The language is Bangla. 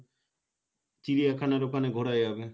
চিড়িয়াখানার ওখানে ঘোরা যাবে